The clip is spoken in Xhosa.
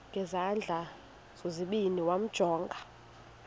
ngezandla zozibini yamjonga